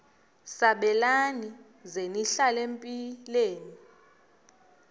sabelani zenihlal etempileni